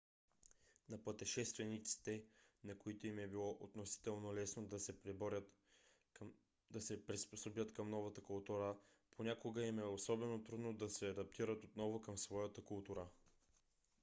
на пътешествениците на които им е било относително лесно да се приспособят към новата култура понякога им е особено трудно да се адаптират отново към своята култура